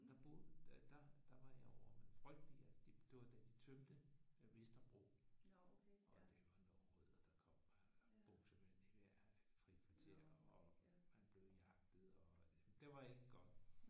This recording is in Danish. Der boede der der var jeg ovre. Men frygteligt altså. Det var da de tømte Vesterbro og det var nogle rødder der kom. Buksevand i hvert frikvarter og man blev jagtet og det var ikke godt